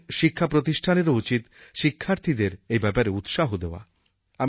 আমাদের শিক্ষাপ্রতিষ্ঠানেরও উচিত শিক্ষার্থীদের এই ব্যাপারে উৎসাহ দেওয়া